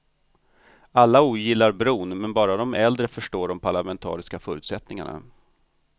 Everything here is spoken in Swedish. Alla ogillar bron men bara de äldre förstår de parlamentariska förutsättningarna.